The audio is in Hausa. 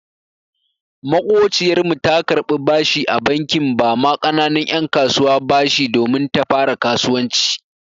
Maƙociyar mu ta karɓi bashi a bankin ba ma ƙananun 'yan kasuwa bashi domin ta fara kasuwanci.